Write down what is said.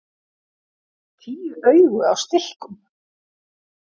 Tíu augu á stilkum!